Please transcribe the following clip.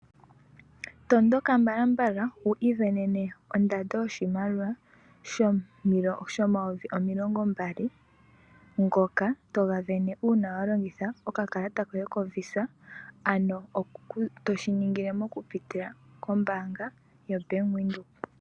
Tondoka mbala mbala wiisindanene ondando yoye yoshimaliwa shomayovi omilongo mbali ngoka toga sindana uuna walongitha okakalata koye ko VISA to SHI ningile mokupitila mombanga yaVenduka.